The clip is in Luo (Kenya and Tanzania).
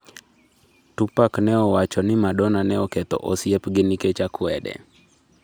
Tupac ne owacho ni Madonna ne oketho osiep gi nikech akwede